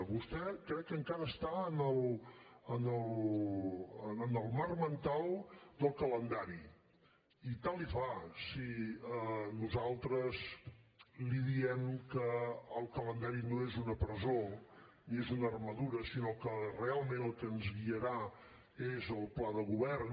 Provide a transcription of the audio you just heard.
vostè crec que encara està en el marc mental del calendari i tant li fa si nosaltres li diem que el calendari no és una presó ni és una armadura sinó que realment el que ens guiarà és el pla de govern